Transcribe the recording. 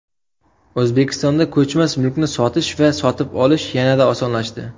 O‘zbekistonda ko‘chmas mulkni sotish va sotib olish yanada osonlashdi.